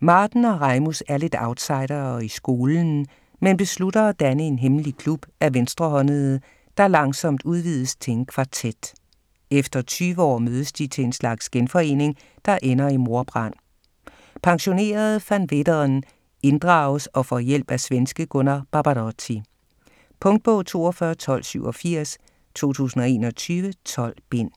Marten og Rejmus er lidt outsidere i skolen, men beslutter at danne en hemmelig klub af venstrehåndede, der langsomt udvides til en kvartet. Efter 20 år mødes de til en slags genforening, der ender i mordbrand. Pensionerede Van Veeteren inddrages og får hjælp af svenske Gunnar Barbarotti. Punktbog 421287 2021. 12 bind.